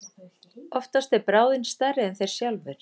Oftast er bráðin stærri en þeir sjálfir.